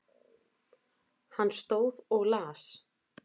Hann stóð og las.